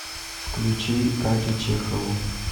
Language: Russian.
включи катю чехову